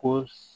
Ko